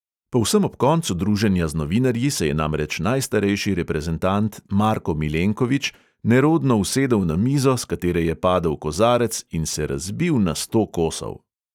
Povsem ob koncu druženja z novinarji se je namreč najstarejši reprezentant marko milenkovič nerodno usedel na mizo, s katere je padel kozarec in se razbil na sto kosov.